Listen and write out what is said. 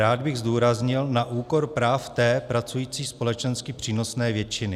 Rád bych zdůraznil, na úkor práv té pracující, společensky přínosné většiny.